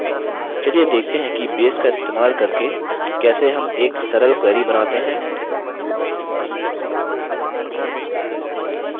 चलिए देखते हैं कि base का इस्तेमाल करके कैसे हम एक सरल query बनाते हैं